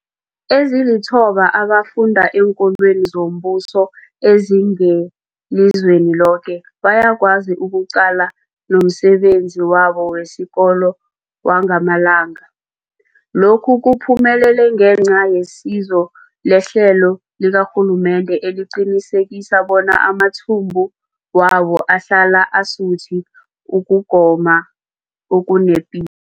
Ezilithoba abafunda eenkolweni zombuso ezingelizweni loke bayakwazi ukuqalana nomsebenzi wabo wesikolo wangamalanga. Lokhu kuphumelele ngenca yesizo lehlelo likarhulumende eliqinisekisa bona amathumbu wabo ahlala asuthi ukugoma okunepilo.